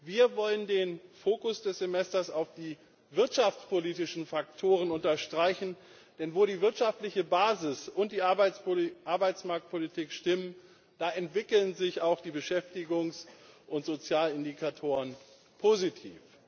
Wir wollen den Fokus des Semesters auf den wirtschaftspolitischen Faktoren unterstreichen, denn wo die wirtschaftliche Basis und die Arbeitsmarktpolitik stimmen, da entwickeln sich auch die Beschäftigungs und Sozialindikatoren positiv.